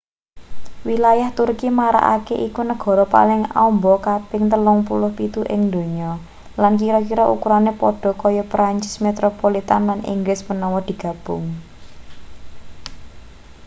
wilayah turki marakake iku negara paling amba kaping 37 ing donya lan kira-kira ukurane padha kaya prancis metropolitn lan inggris menawa digabung